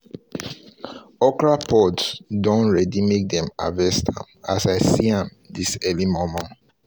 the okra pods don ready make them harvest am as i see am this early momo